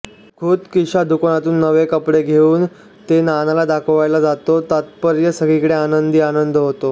खुद्द किशा दुकानातून नवे कपडे घेऊन ते नानाला दाखवायला जातो तात्पर्य सगळीकडे आनंदी आनंद होतो